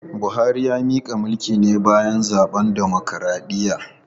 Buhari ya mika mulki ne bayan zaben dimokradiyya.